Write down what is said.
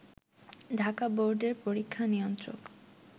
ঢাকা বোর্ডের পরীক্ষা নিয়ন্ত্রক